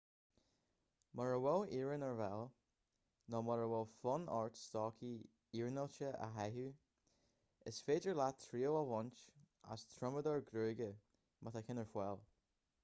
mura bhfuil iarann ​​ar fáil nó mura bhfuil fonn ort stocaí iarnáilte a chaitheamh is féidir leat triail a bhaint as triomadóir gruagaire má tá ceann ar fáil